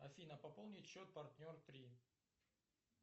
афина пополнить счет партнер три